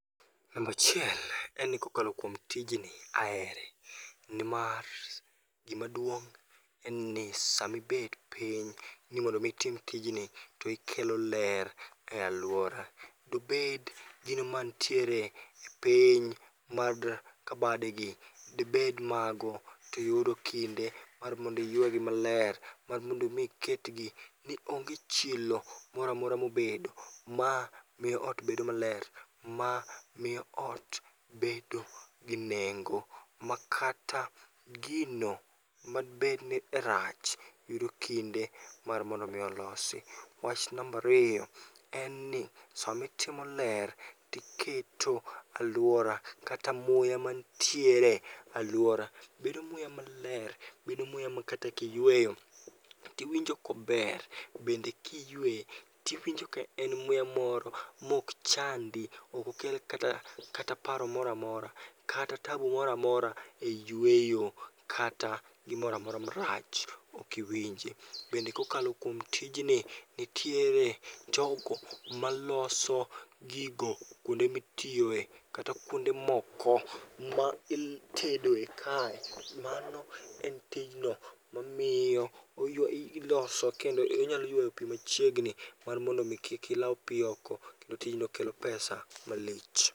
Nambachiel en ni kokalo kuom tijni, ahere. Nimar gimaduong' en ni samibet piny ni mondo mi itim tijni tikelo ler e alwora. Dobed gino mantiere e piny mad kabadegi debed mago tiyudo kinde mar mondiywegi maler, mar mondo mi iketgi ni onge chilo moramora mobedo. Ma miyo ot bedo maler, ma miyo ot bedo gi nengo, ma kata gino madibedni rach yudo kinde mar mondo mi olosi. Wach nambariyo, en ni samitimo ler tiketo alwora kata muya mantiere e alwora bedo muya maler. Bedo muya ma kata kiyweyo tiwinjo kober, bende kiyue, tiwinjo kaen muya moro mok chandi. Okokel kata paro moramora, kata tabu moramora e yweyo, kata gimoramora marach okiwinje. Bende kokalo kuom tijni, nitiere jogo maloso gigo kuonde mitiyoe kata kuonde moko ma itedoe kae. Mano en tijno mamiyo oywa ilosowa kendo inyalo ywayo pi machiegni mar mondo mi kik ilaw pi oko kendo tijno kelo pesa malich.